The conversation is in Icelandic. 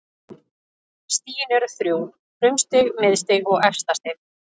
Stig eru þrjú: frumstig, miðstig og efstastig.